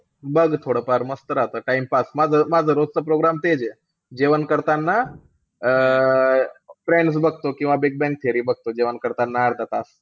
बघ थोडंफार मस्त राहता timepass. माझं~ माझं रोजचं program तेचे. जेवण करताना अं फ्रेंड्स बघतो किंवा बिग बॅंग थिअरी बघतो, जेवण करताना अर्धा तास.